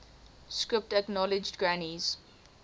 script acknowledged granny's